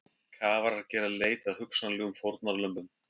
Kafarar gera leit að hugsanlegum fórnarlömbum